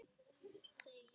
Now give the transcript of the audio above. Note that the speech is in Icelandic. En það er satt.